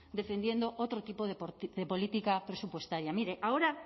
defendiendo otro tipo de política presupuestaria mire ahora